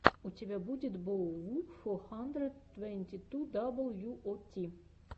у тебя будет беовулф фо хандрэд твэнти ту дабл ю о ти